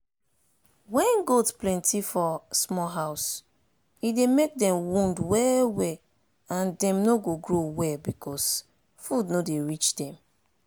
wen goat plenty for small house e dey make dem wound well well and dem no dey grow well because food no dey reach dem.